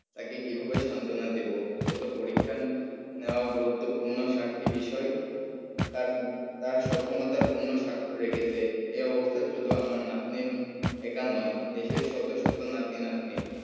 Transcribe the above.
তাকে কিভাবে সান্ত্বনা দেব সে তো পরীক্ষা নেওয়া গুরুত্বপূর্ণ সাতটি বিষয় তার তার সক্ষমতায় পূর্ণ স্বাক্ষর রেখেছে। এ অবস্থায় শুধু আমার নাতনির একা নয় দেশের শত শত নাতি নাতনির